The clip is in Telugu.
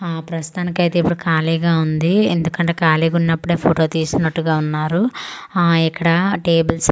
ఆ ప్రస్తుతానికి అయితే ఇప్పుడు ఖాళీగా ఉంది ఎందుకంటే ఖాళీగా ఉన్నప్పుడే ఫోటో తీసినటు ఉన్నారు ఆ ఇక్కడ టెబుల్స్ బా--